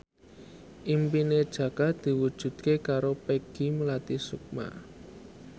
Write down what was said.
impine Jaka diwujudke karo Peggy Melati Sukma